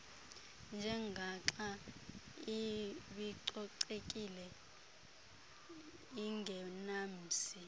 njengaxa ibicocekile ingenamsi